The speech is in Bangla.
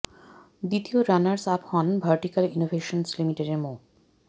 দ্বিতীয় রানার্স আপ হন ভার্টিকাল ইনোভেশনস লিমিটেডের এর মো